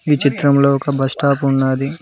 ఈ చిత్రంలో ఒక బస్టాప్ ఉన్నాది.